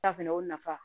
fɛnɛ o nafa